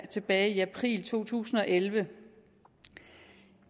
tilbage i april to tusind og elleve